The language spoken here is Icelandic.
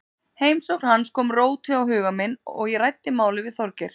Heimsókn hans kom róti á huga minn og ég ræddi málið við Þorgeir.